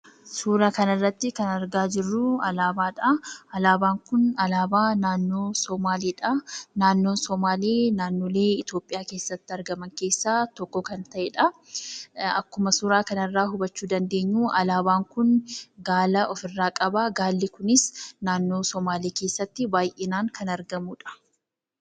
Suura kana irratti argaa kan jirru alaabaadha. Alaabaan Kun alaabaa naannoo Sumaaleedha. Naannoon sumaalee naannoo Itoophiyaa keessatti argaman keessaa isa tokkodha. Akkuma suura kana irraa hubachuu dandeenyu alaabaan kun gaala ofirraa qaba. Gaalli kunis naannoo Sumaalee keessatti baay'inaan kan argamudha.